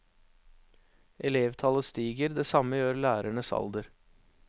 Elevtallet stiger, det samme gjør lærernes alder.